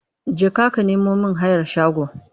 Jeka ka nemo mIn hayar shago!